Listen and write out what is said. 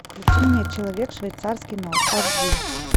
включи мне человек швейцарский нож аш ди